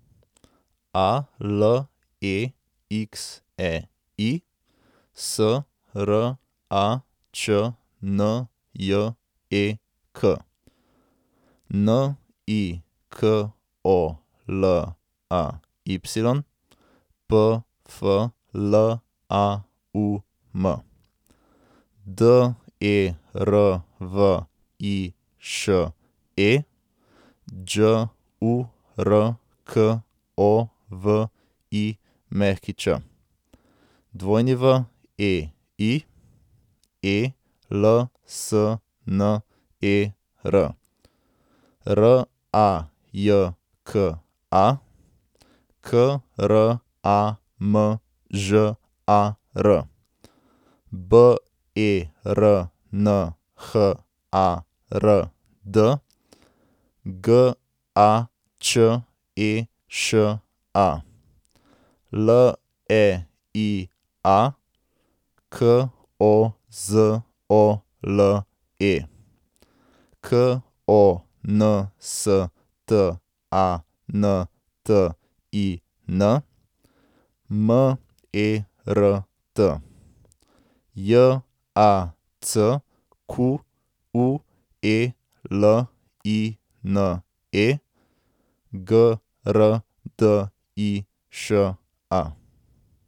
Alexei Sračnjek, Nikolay Pflaum, Derviše Đurković, Wei Elsner, Rajka Kramžar, Bernhard Gačeša, Leia Kozole, Konstantin Mert, Jacqueline Grdiša.